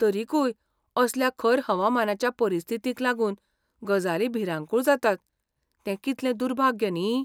तरिकूय असल्या खर हवामानाच्या परिस्थितींक लागून गजाली भिरांकूळ जातात तें कितलें दुर्भाग्य न्ही.